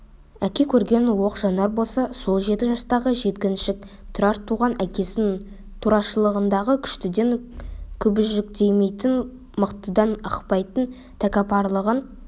әке көрген оқ жанар болса сол жеті жастағы жеткіншек тұрар туған әкесінің турашылдығын күштіден күбіжіктемейтін мықтыдан ықпайтын тәкаппарлығын